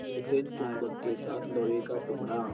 जैसे चुम्बक के साथ लोहे का टुकड़ा